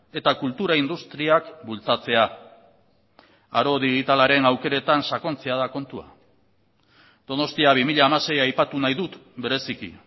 eta kultura industriak bultzatzea aro digitalaren aukeretan sakontzea da kontua donostia bi mila hamasei aipatu nahi dut bereziki